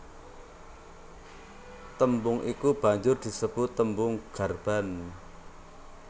Tembung iku banjur disebut tembung garban